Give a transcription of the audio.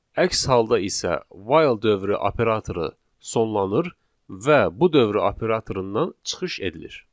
Əks halda isə while dövrü operatoru sonlanır və bu dövrü operatorundan çıxış edilir.